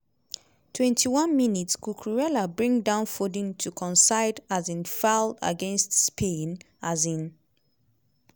21 mins - cucurella bring down foden to concede um foul against spain. um